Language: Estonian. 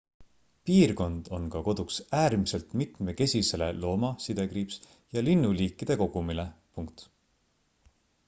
piirkond on ka koduks äärmiselt mitmekesisele looma ja linnuliikide kogumile